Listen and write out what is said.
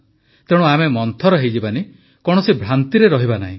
ତେଣୁ ଆମେ ମନ୍ଥର ହୋଇଯିବା ନାହିଁ କୌଣସି ଭ୍ରାନ୍ତିରେ ରହିବା ନାହିଁ